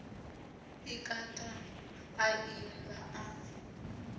i kata a i laṱa